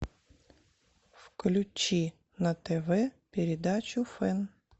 включи на тв передачу фэн